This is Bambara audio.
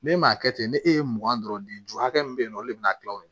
Ne m'a kɛ ten ne ne e ye mugan dɔrɔn de ju hakɛ min be yen nɔ olu be na kila o la